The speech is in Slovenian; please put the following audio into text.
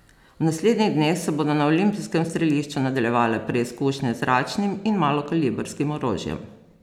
V naslednjih dneh se bodo na olimpijskem strelišču nadaljevale preizkušnje z zračnim in malokalibrskim orožjem.